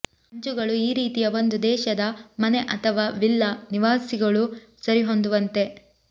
ಅಂಚುಗಳು ಈ ರೀತಿಯ ಒಂದು ದೇಶದ ಮನೆ ಅಥವಾ ವಿಲ್ಲಾ ನಿವಾಸಿಗಳು ಸರಿಹೊಂದುವಂತೆ